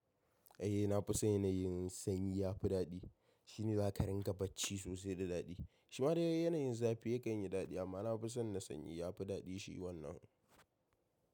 Eh na fi san yanayin sanyi ya fi daɗi. Shi ne za ka rinƙa bacci sosai da daɗi. Shima dai yanayin zafi yakan yi daɗi amma na fi son na sanyi ya fi daɗi shi wannan.